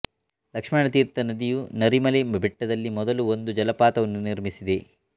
ಲಕ್ಷ್ಮಣ ತೀರ್ಥ ನದಿಯು ನರಿ ಮಲೆ ಬೆಟ್ಟದಲ್ಲಿ ಮೊದಲು ಒಂದು ಜಲಪಾತವನ್ನು ನಿರ್ಮಿಸಿದೆ